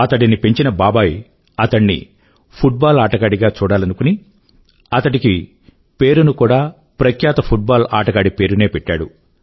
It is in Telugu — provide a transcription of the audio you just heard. అతడిని పెంచిన బాబాయి అతడిని ఫుట్ బాల్ ఆటగాడిగా చూడాలనుకుని అతడికి పేరును కూడా ప్రఖ్యాత ఫుట్ బాల్ ఆటగాడి పేరునే పెట్టాడు